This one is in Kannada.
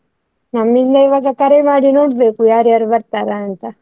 ನಮ್ಮಿಂದ ಇವಾಗ ಕರೆ ಮಾಡಿ ನೋಡ್ಬೇಕು ಯಾರ್ಯಾರು ಬರ್ತಾರಾ ಅಂತ.